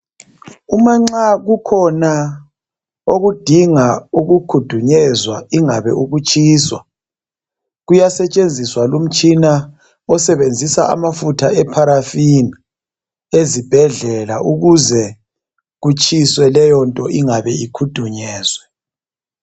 uma nxa kukhona okudinga ukukhudunyezwa ingabe ukutshiswa kuyasetshenziswa lumtshina osebnzisa amafutha e parafin ezibhedlela ukze kutshiswe leyonto ingabe ikhudunyezwe